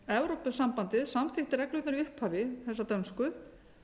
evrópusambandið samþykkti reglurnar í upphafi þessar dönsku